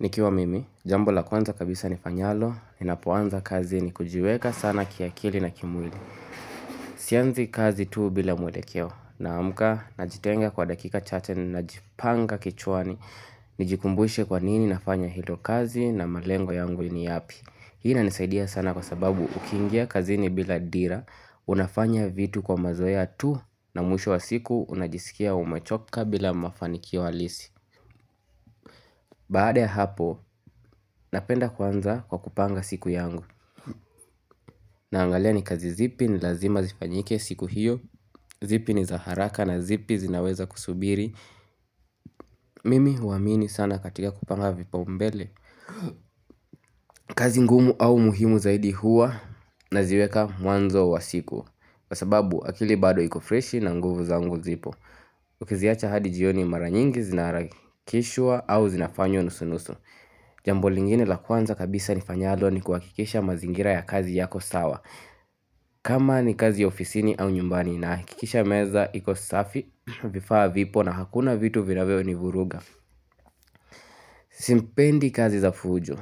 Nikiwa mimi, jambo la kwanza kabisa nifanyalo, ninapoanza kazi ni kujiweka sana kiakili na kimwili. Sianzi kazi tu bila mwelekeo, naamka najitenga kwa dakika chache najipanga kichwani, nijikumbushe kwa nini nafanya hilo kazi na malengo yangu ni yapi. Hii inanisaidia sana kwa sababu ukiingia kazini bila dira, unafanya vitu kwa mazoea tu, na mwisho wa siku unajisikia umechoka bila mafanikio halisi. Baada ya hapo, napenda kuanza kwa kupanga siku yangu Naangalia ni kazi zipi ni lazima zifanyike siku hiyo zipi ni za haraka na zipi zinaweza kusubiri Mimi huwaamini sana katika kupanga vipaumbele kazi ngumu au muhimu zaidi huwa naziweka mwanzo wa siku Kwa sababu akili bado iko freshi na nguvu zangu zipo Ukiziacha hadi jioni mara nyingi zinaharakishwa au zinafanywa nusu nusu Jambo lingine la kwanza kabisa nifanyalo ni kuhakikisha mazingira ya kazi yako sawa kama ni kazi ofisini au nyumbani nahakikisha meza iko safi vifaa vipo na hakuna vitu vinavyonivuruga Simpendi kazi za fujo